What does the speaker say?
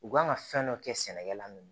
U kan ka fɛn dɔ kɛ sɛnɛkɛla min ye